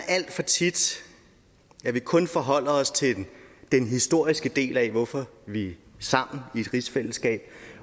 alt for tit kun forholder os til den historiske del af hvorfor vi er sammen i et rigsfællesskab